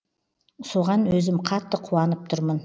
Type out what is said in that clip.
соған өзім қатты қуанып тұрмын